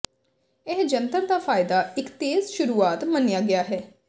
ਇਹ ਜੰਤਰ ਦਾ ਫਾਇਦਾ ਇੱਕ ਤੇਜ਼ ਸ਼ੁਰੂਆਤ ਮੰਨਿਆ ਗਿਆ ਹੈ